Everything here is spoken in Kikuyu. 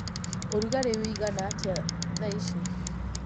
ũrũgarĩ ũĩgana atĩa thaa ĩcĩ